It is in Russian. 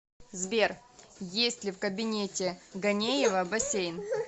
сбер есть ли в кабинете ганеева бассейн